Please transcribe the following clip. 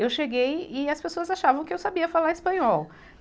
Eu cheguei e as pessoas achavam que eu sabia falar espanhol.